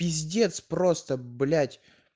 пиздец просто блять